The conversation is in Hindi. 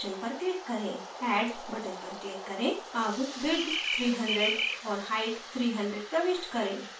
add button पर click करें add width 300 और height 300 प्रविष्ट करें